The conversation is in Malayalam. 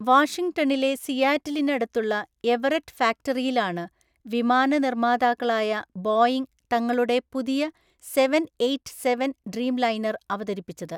വാഷിംഗ്ടണിലെ സിയാറ്റിലിനടുത്തുള്ള എവററ്റ് ഫാക്ടറിയിലാണ് വിമാന നിർമ്മാതാക്കളായ ബോയിംഗ് തങ്ങളുടെ പുതിയ സെവെന്‍ എയ്റ്റ് സെവെന്‍ ഡ്രീംലൈനർ അവതരിപ്പിച്ചത്.